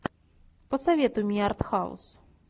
посоветуй мне артхаус